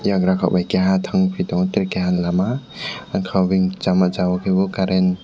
yagra kokbai keha tangpi tango tere keha lama angkagoi sama jaga o ke bo current.